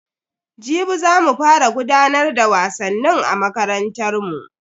Jibi za mu fara gudanar da wasannin a makarantar mu.